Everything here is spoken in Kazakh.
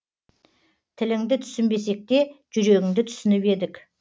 тіліңді түсінбесек те жүрегіңді түсініп едік